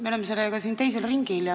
Me oleme selle eelnõuga siin teisel ringil.